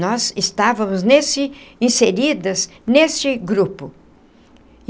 Nós estávamos nesse inseridas nesse grupo.